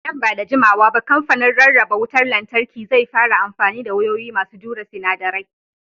Nan ba da jimawa ba kamfanin rarraba wutar lantarki zai fara amfani da wayoyi masu jure sinadarai.